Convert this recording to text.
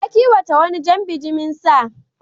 Ya kiwata wani jan bajimin sa.